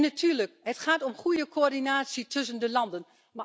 En natuurlijk het gaat om goede coördinatie tussen de landen.